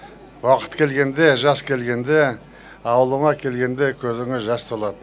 уақыт келгенде жас келгенде ауылыма келгенде көзіме жас толады